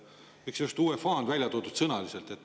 Miks just UEFA on välja toodud?